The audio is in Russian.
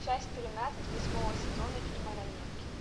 часть тринадцать восьмого сезона фильма ранетки